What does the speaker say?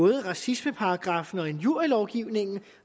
racismeparagraffen og injurielovgivningen